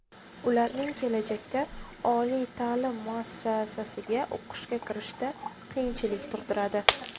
Ularning kelajakda oliy ta’lim muassasiga o‘qishga kirishida qiyinchilik tug‘diradi.